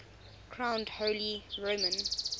crowned holy roman